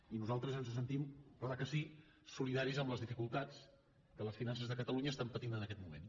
i nosaltres ens sentim clar que sí solidaris amb les dificultats que les finances de catalunya estan patint en aquest moment